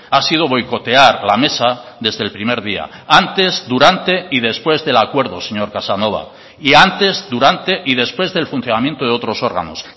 ha sido boicotear la mesa desde el primer día antes durante y después del acuerdo señor casanova y antes durante y después del funcionamiento de otros órganos